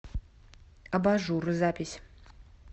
абажуръ запись